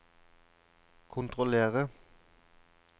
kontrollere